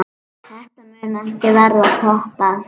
Þetta mun ekki verða toppað.